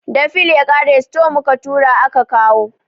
Da fil ya ƙare, store mu ka tura aka kawo